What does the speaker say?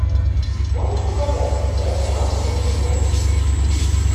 можешь показать на тв канал мьюзик бокс